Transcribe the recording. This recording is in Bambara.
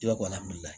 I b'a